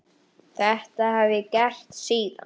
Þetta hef ég gert síðan.